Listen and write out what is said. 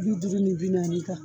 Bi duuru ni bi naani kan